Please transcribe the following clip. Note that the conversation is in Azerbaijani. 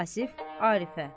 Vasif Arifə.